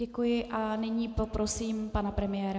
Děkuji a nyní poprosím pana premiéra.